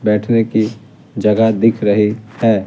बैठने की जगह दिख रही है।